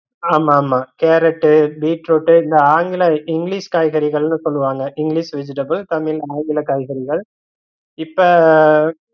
ஆமா ஆமா carrot, beetroot இந்த ஆங்கில english காய்கறிகள்ன்னு சொல்லுவாங்க english vegetables தமிழ் ஆங்கில காய்கறிகள் இப்ப